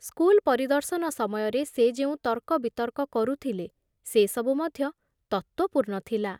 School ପରିଦର୍ଶନ ସମୟରେ ସେ ଯେଉଁ ତର୍କବିତର୍କ କରୁଥିଲେ ସେ ସବୁ ମଧ୍ୟ ତତ୍ତ୍ୱପୂର୍ଣ୍ଣ ଥିଲା ।